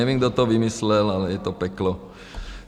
Nevím, kdo to vymyslel, ale je to peklo.